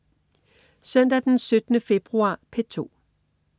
Søndag den 17. februar - P2: